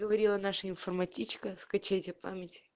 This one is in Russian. говорила наша информатичка скачайте память